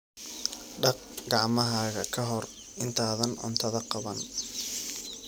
Dhaq gacmahaaga ka hor intaadan cuntada qaban.